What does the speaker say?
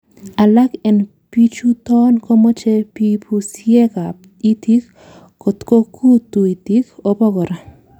Alak en bichuton komoche pipusiekab itik kotko kutu itik obo kora.